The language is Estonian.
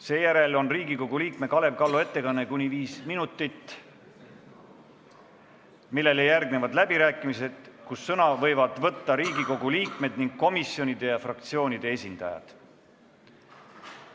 Seejärel on Riigikogu liikme Kalev Kallo ettekanne kuni viis minutit, millele järgnevad läbirääkimised, kus sõna võivad võtta isiklikult Riigikogu liikmed ning komisjonide ja fraktsioonide esindajad.